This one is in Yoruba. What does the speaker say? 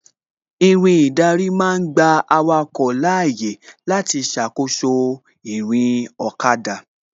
Irin ìdarí ma ń gba awake láyé láti ṣàkóso ìrìn ọ̀kada